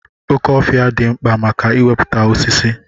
Oke ofia di mkpa maka iweputa osisi.